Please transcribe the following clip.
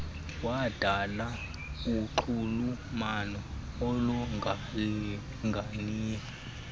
wadala unxulumano olungalinganiyo